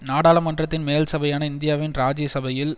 நாடாளுமன்றத்தின் மேல் சபையான இந்தியாவின் ராஜ்ய சபையில்